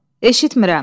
Eşitmirəm.